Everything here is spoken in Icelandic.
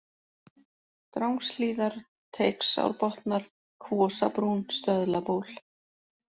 Drangshlíðar, Teigsárbotnar, Kvosabrún, Stöðlaból